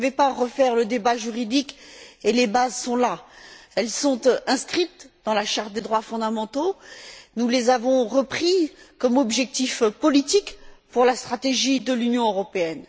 Je ne veux pas relancer le débat juridique, car les bases sont bien là. Elles sont inscrites dans la Charte des droits fondamentaux. Nous les avons reprises comme objectif politique pour la stratégie de l'Union européenne.